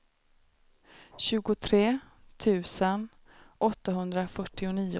tjugotre tusen åttahundrafyrtionio